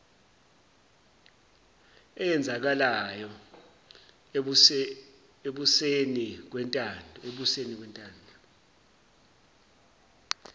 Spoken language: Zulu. eyenzekalayo ekubuseni kwentando